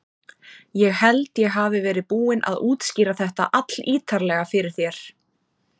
Ég held ég hafi verið búinn að útskýra þetta allítarlega fyrir þér.